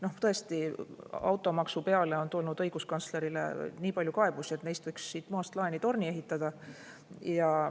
No tõesti, automaksu peale on tulnud õiguskantslerile nii palju kaebusi, et neist võiks siin maast laeni torni ehitada.